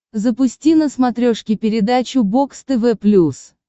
запусти на смотрешке передачу бокс тв плюс